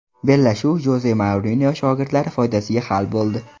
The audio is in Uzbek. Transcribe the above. Bellashuv Joze Mourinyo shogirdlari foydasiga hal bo‘ldi.